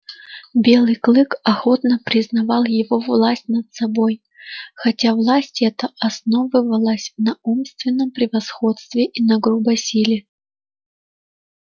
белый клык охотно признавал его власть над собой хотя власть эта основывалась на умственном превосходстве и на грубой силе